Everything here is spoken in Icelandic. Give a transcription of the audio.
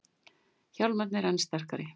Hjálmarnir enn sterkari